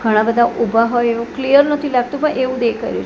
ઘણા બધા ઉભા હોય એવુ ક્લીયર નથી લાગતું પણ એવુ દેખાય રહ્યું--